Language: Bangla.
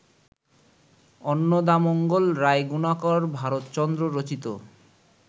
অন্নদামঙ্গল রায়গুণাকর ভারতচন্দ্র রচিত